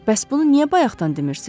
Bəs bunu niyə bayaqdan demirsiz?